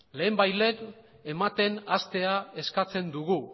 lehenbailehen ematen hastea eskatzen dugu